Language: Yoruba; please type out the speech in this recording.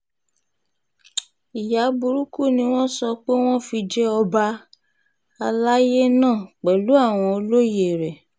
ìyá burúkú ni wọ́n sọ pé wọ́n fi jẹ ọba àlàyé náà pẹ̀lú àwọn olóye rẹ̀